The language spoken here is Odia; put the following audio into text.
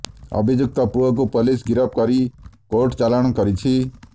ଅଭିଯୁକ୍ତ ପୁଅକୁ ପୋଲିସ ଗିରଫ କରି କୋର୍ଟ ଚାଲାଣ କରିଛି